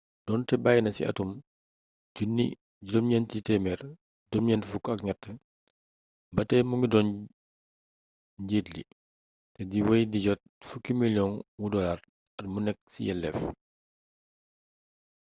donté bayina ci atum 1993 ba tay mu ngi doon njiit li té di wéy di jot fukki millions wu dollars at mu né ci yelleef